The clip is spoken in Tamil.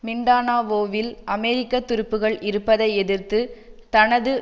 மிண்டானாவோவில் அமெரிக்க துருப்புக்கள் இருப்பதை எதிர்த்து தனது